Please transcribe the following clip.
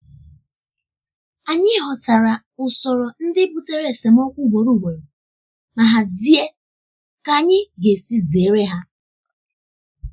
anyị ghọtara usoro ndị butere esemokwu ugboro ugboro ma hazie ka anyị ga-esi zere ha.